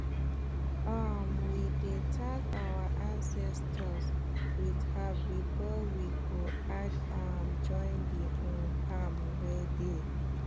um we dey thank our ancestors with herbs before we go add um join the um farm wey dey